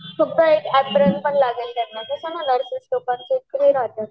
फक्त एक अपरेण पण लागेल त्यांना कस नर्सिंग साठी